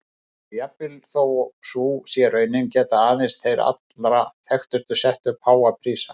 Og jafnvel þó sú sé raunin geta aðeins þeir allra þekktustu sett upp háa prísa.